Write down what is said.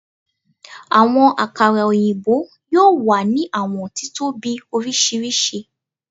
Awọn akara oyinbo, yoo wa ni awọn titobi oriṣiriṣi